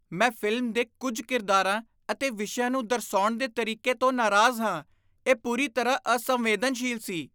ਮੈਂ ਫ਼ਿਲਮ ਦੇ ਕੁੱਝ ਕਿਰਦਾਰਾਂ ਅਤੇ ਵਿਸ਼ਿਆਂ ਨੂੰ ਦਰਸਾਉਣ ਦੇ ਤਰੀਕੇ ਤੋਂ ਨਾਰਾਜ਼ ਹਾਂ। ਇਹ ਪੂਰੀ ਤਰ੍ਹਾਂ ਅਸੰਵੇਦਨਸ਼ੀਲ ਸੀ।